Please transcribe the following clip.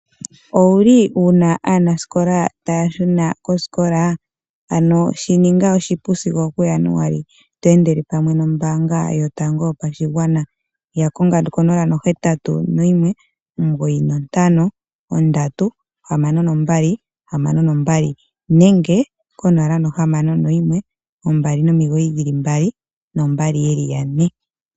Owuli wuna aanasikola taya shuna koosikola, ano shininga oshipu sigo okuJanuali, to endele pamwe noombaanga yotango yopashigwana, ya konga 0819536262 nenge 0612992222.